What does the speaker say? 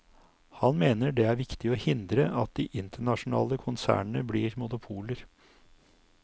Han mener det er viktig å hindre at de internasjonale konsernene blir monopoler.